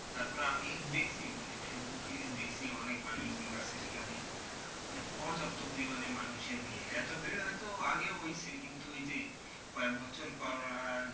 তারপরে আমি দেখছি মানে ফেসবুকে দেখছি অনেক মানুষ জন যাচ্ছে সেখানে মানে পর্যাপ্ত পরিমাণে মানুষের ভীড়, এতো ভীড় হয়তো আগে হইসে কিন্তু ওই যে কয়েকবছর করোনার জন্য,